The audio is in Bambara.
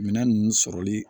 Minɛn ninnu sɔrɔli